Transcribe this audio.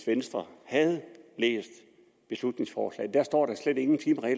venstre havde læst beslutningsforslaget der står at der slet ikke